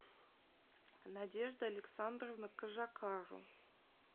надежда александровна кожакару